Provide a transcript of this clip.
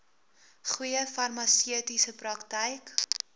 goeie farmaseutiese praktyk